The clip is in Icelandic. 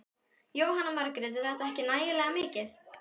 Jóhanna Margrét: Er þetta ekki nægilega mikið?